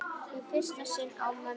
Í fyrsta sinn án mömmu.